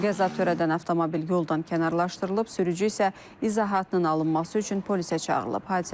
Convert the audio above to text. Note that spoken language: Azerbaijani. Qəza törədən avtomobil yoldan kənarlaşdırılıb, sürücü isə izahatının alınması üçün polisə çağırılıb.